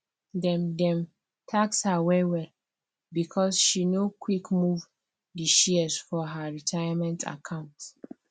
dem dem tax her wellwell because she no quick move the shares for her retirement account